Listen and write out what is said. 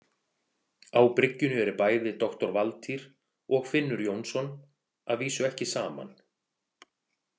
Á bryggjunni eru bæði doktor Valtýr og Finnur Jónsson, að vísu ekki saman.